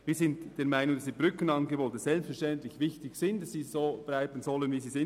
Wir sind der Meinung, dass die Brückenangebote wichtig sind, und dass sie so bleiben sollen, wie sie sind.